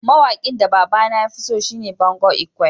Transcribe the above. Mawakin da baba na ya fi so shine Bongo lkwe.